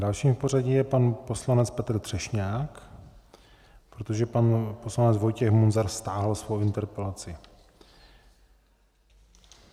Dalším v pořadí je pan poslanec Petr Třešňák, protože pan poslanec Vojtěch Munzar stáhl svoji interpelaci.